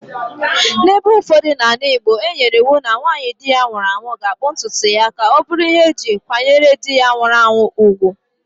N'ebe ụfọdụ n'ala igbo,e nyere iwu na nwanyị di ya nwụrụ ga akpụ ntutu ya ka ọ bụrụ ihe e ji kwanyere di ya nwụrụ anwụ ùgwù.